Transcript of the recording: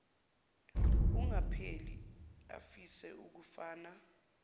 engapheli afise ukufana